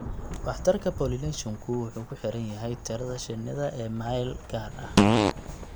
Waxtarka pollination-ku waxay ku xiran tahay tirada shinnida ee meel gaar ah.